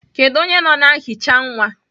Kedu onye nọ na nhicha nwa?